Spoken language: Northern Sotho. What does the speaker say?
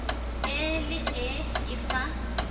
e le ee e fa